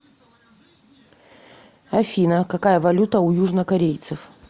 афина какая валюта у южнокорейцев